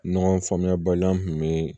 Ɲɔgɔn faamuyabaliya kun bɛ